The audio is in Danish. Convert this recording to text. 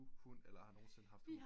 Hund eller nogen siden hos hund